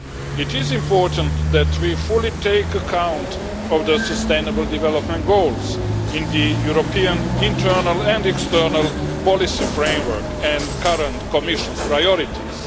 It is important that we fully take account of the Sustainable Development Goals in the European internal and external policy framework and current Commission priorities.